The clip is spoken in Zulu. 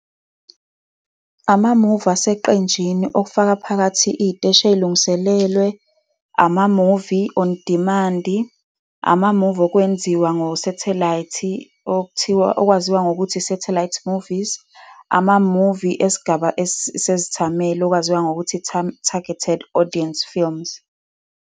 Amamuvi aseqenjini, okufaka phakathi iy'teshi ezilungiselelwe, amamuvi on demand-i, amamuvi okwenziwa ngosathelayithi, okwaziwa ngokuthi i-Satellite Movies, amamuvi esigaba sezithameli okwaziwa ngokuthi i-targeted audience films.